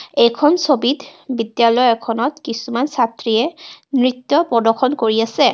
এইখন ছবিত বিদ্যালয় এখনত কিছুমান ছাত্ৰীয়ে নৃত্য প্ৰদৰ্শন কৰি আছে.